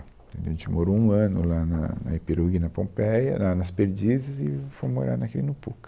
Entendeu, a gente morou um ano lá na na Iperoig, na Pompéia, lá nas Perdizes, e fomos morar na Quirino Pucca.